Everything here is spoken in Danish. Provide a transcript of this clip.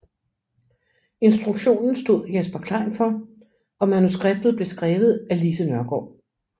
Instruktionen stod Jesper Klein for og manuskriptet blev skrevet af Lise Nørgaard